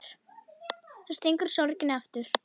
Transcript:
Þá stingur sorgin aftur.